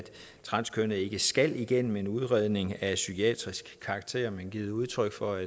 transkønnede ikke skal igennem en udredning af psykiatrisk karakter men givet udtryk for